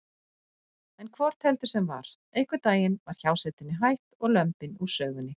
En hvort heldur sem var: einhvern daginn var hjásetunni hætt og lömbin úr sögunni.